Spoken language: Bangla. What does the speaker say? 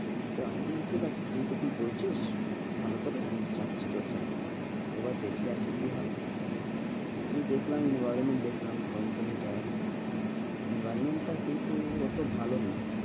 তো আমি বললাম ঠিক আছে। তুই যখন বলছিস ভালো করে আমি যাচ্ছি তোর সাথে একবার দেখে আসি কি হয় আমি দেখলাম company টা environment টা কিন্তু অতো ভালো না,